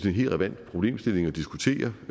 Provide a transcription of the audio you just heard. en helt relevant problemstilling at diskutere